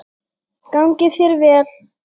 Gangi þér vel!